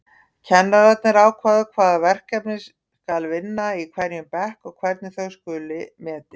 Kennararnir ákveða hvaða verkefni skal vinna í hverjum bekk og hvernig þau skuli metin.